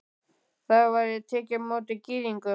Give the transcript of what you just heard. Þar væri tekið á móti Gyðingum.